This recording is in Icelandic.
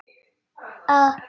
Hvað þú værir að hugsa.